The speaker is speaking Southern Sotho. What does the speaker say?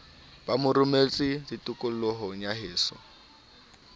ba ramotse tikolohong ya heso